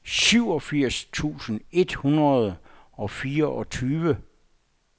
syvogfirs tusind et hundrede og fireogtyve